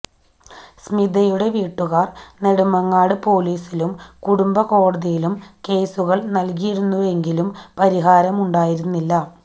സ്മിതയുടെ വീട്ടുകാർ നെടുമങ്ങാട് പോലീസിലും കുടുംബക്കോടതിയിലും കേസുകൾ നൽകിയിരുന്നെങ്കിലും പരിഹാരമുണ്ടായിരുന്നില്ല